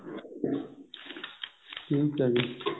ਠੀਕ ਹੈ ਜੀ